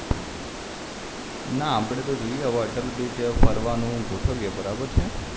ના આપડે તો જોઈએ હવે અટલ બ્રીજ ફરવાનું ગોઠવીએ બરાબર છે